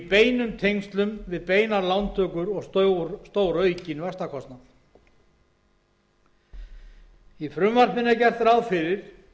beinum tengslum við beinar lántökur og stóraukinn vaxtakostnað í frumvarpinu er gert ráð fyrir